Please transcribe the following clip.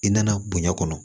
I nana bonya kɔnɔ